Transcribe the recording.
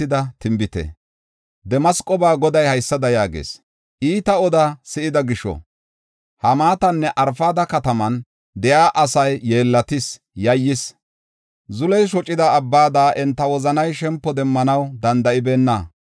Damasqoba Goday haysada yaagees; “Iita oda si7ida gisho, Hamaatanne Arfada katamatan de7iya asay yeellatis; yayyis. Zuley shocida abbada enta wozanay shempo demmanaw danda7ibeenna.